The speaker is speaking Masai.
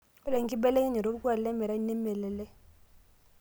Ore enkibelekenyata olkuak lemerai nemelelek.